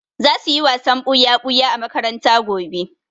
Za su yi wasan ɓuya-ɓuya a makaranta gobe.